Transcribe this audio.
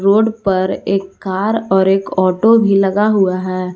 Road पर एक car और एक ऑटो भी लगा हुआ है।